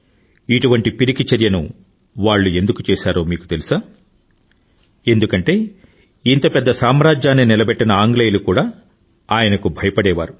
ఇటువంటి పిరికి చర్యను వాళ్ళు ఎందుకు చేశారో తెలుసా మీకు ఎందుకంటే ఇంత పెద్ద సామ్రాజ్యాన్ని నిలబెట్టిన ఆంగ్లేయులకు కూడా ఆయనకు భయపడేవారు